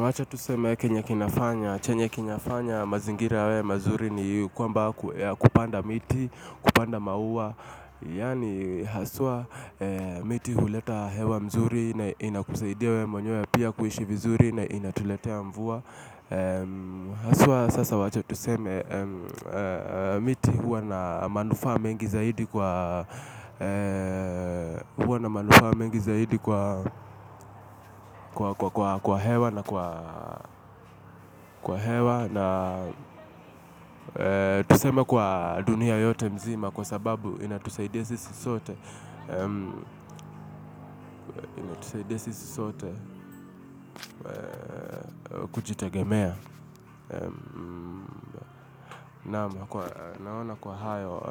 Wacha tuseme kenye kinafanya, chenye kinafanya mazingira yawe mazuri ni kwamba kupanda miti, kupanda maua. Yani haswa miti huleta hewa mzuri na inakusaidia wewe mwenyewe pia kuishi vizuri na inatuletea mvua. Haswa sasa wacha tuseme. Miti huwa na manufaa mengi zaidi kwa huwa na manufaa mengi zaidi kwa hewa na kwa hewa. Na tuseme kwa dunia yote mzima kwa sababu inatusaidia sisi sote kujitegemea naam naona kwa hayo